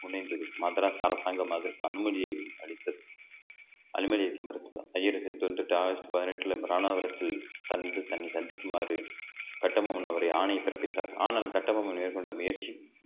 முனைந்தது மதராஸ் அரசாங்கம் அதற்கு அனுமதியை அளித்தது வந்துட்டு அனுமதி அழிக்க மறுத்துள்ளார் ஆகஸ்ட் பதினெட்டுல இராணாவரத்து தன்~ தன்னை சந்திக்குமாறு கட்டபொம்மன் அவரை ஆணை பிறப்பித்தார் ஆனால் கட்டபொம்மன் மேற்கொண்ட முயற்சி